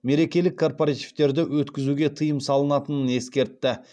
мерекелік корпоративтерді өткізуге тыйым салынатынын ескертті